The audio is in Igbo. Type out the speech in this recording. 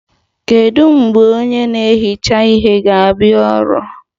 Kedu mgbe onye na-ehicha ihe ga-abịa ọrụ?